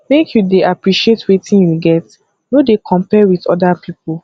make you dey appreciate wetin you get no dey compare wit oda pipo